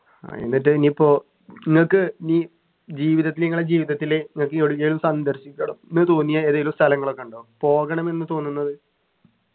ആഹ് എന്നിട്ട് ഇനിയിപ്പോ നിങ്ങക്ക് ഇനി ജീവിതത്തിൽ നിങ്ങളെ ജീവിതത്തില് നിങ്ങക്ക് എവിടേലും സന്ദർശിക്കണം ന്ന് തോന്നിയ ഏതേലും സ്ഥലങ്ങളൊക്കെ ഉണ്ടോ പോകണമെന്നു തോന്നുന്നത്